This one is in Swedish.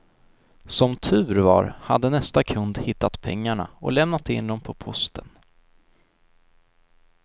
Som tur var hade nästa kund hittat pengarna och lämnat in dem på posten.